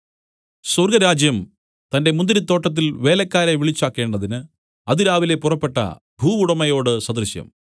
സ്വർഗ്ഗരാജ്യം തന്റെ മുന്തിരിത്തോട്ടത്തിൽ വേലക്കാരെ വിളിച്ചാക്കേണ്ടതിന് അതിരാവിലെ പുറപ്പെട്ട ഭൂവുടമയോട് സദൃശം